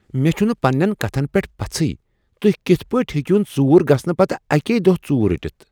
مےٚ چُھنہٕ پننِین کَتھن پیٹھ پژھٕے تُہۍ کِتھ پٲٹھۍ ہیکوٕ ژوٗر گژھنہٕ پتہٕ اَکے دۄہ ژور رٔٹتھ ؟